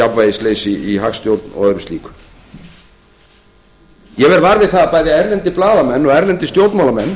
jafnvægisleysi í hagstjórn og öðru slíku ég verð var við það að bæði erlendir blaðamenn og erlendir stjórnmálamenn